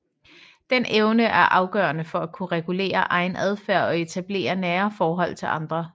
Den evne er afgørende for at kunne regulere egen adfærd og etablere nære forhold til andre